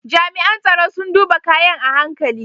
Jami’an tsaro sun duba kayan a hankali.